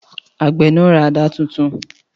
Àgbẹ̀ náà ra àdá tuntun.